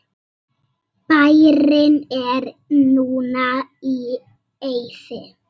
Bærinn er núna í eyði.